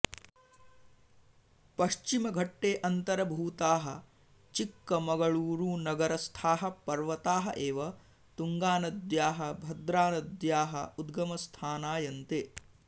पश्चिमघट्टे अन्तर्भूताः चिक्कमगळूरुनगरस्थाः पर्वताः एव तुङ्गानद्याः भद्रानद्याः उगमस्थानायन्ते